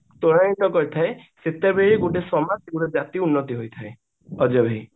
ତ୍ବରଣିତ କରିଥାଏ ସେତେବେଳ ଗୋଟେ ସମାଜ ଆଉ ଗୋଟେ ଜାତିର ଉନ୍ନତି ହୋଇଥାଏ ଅଜୟ ଭାଇ